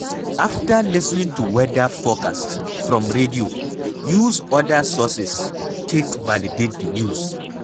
After lis ten ing to weather forcast from radio, use oda sources take validate the news